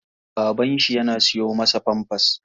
Baban shi yana siyo masa pampers.